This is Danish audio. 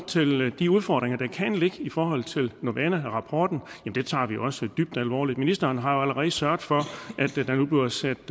til det de udfordringer der kan ligge i forhold til novana rapporten tager vi også dybt alvorligt ministeren har jo allerede sørget for at der nu bliver sat